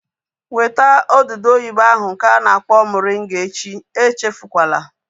Weta odudu oyibo ahu nke a na-akpọ moringa echi! Echefukwala